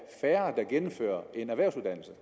færre der gennemfører en erhvervsuddannelse